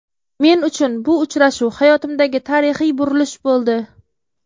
Men uchun bu uchrashuv hayotimdagi tarixiy burilish bo‘ldi.